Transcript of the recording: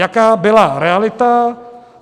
Jaká byla realita?